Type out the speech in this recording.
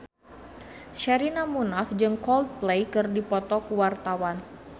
Sherina Munaf jeung Coldplay keur dipoto ku wartawan